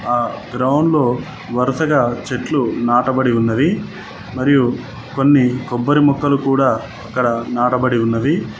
ఆ గ్రౌండ్లో వరసగా చెట్లు నాటబడి ఉన్నవి మరియు కొన్ని కొబ్బరి మొక్కలు కూడా అక్కడ నాటబడి ఉన్నవి.